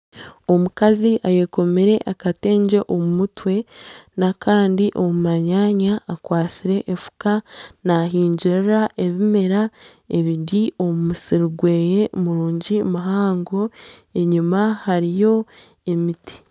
Omukazi ayekomire akatengye omu mutwe n'akandi omu manyanya akwatsire enfuka naahingirira ebimera, ebiri omu musiri gwe muhango enyima hariyo emiti